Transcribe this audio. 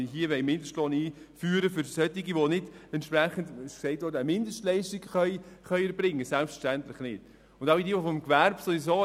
Die Einführung des Mindestlohns für Personen, die nicht eine Mindestleistung erbringen können, bildet selbstverständlich nicht den Hintergrund dieses Antrags.